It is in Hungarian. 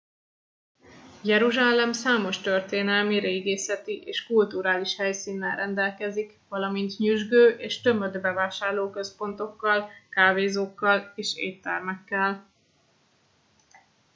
jeruzsálem számos történelmi régészeti és kulturális helyszínnel rendelkezik valamint nyüzsgő és tömött bevásárlóközpontokkal kávézókkal és éttermekkel